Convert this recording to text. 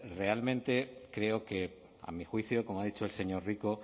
realmente creo que a mi juicio como ha dicho el señor rico